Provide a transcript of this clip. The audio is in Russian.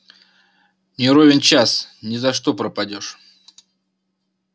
не ровен час ни за что пропадёшь